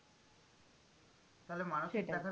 তাহলে মানুষের দেখা